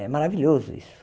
É maravilhoso isso.